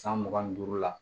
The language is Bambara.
San mugan ni duuru la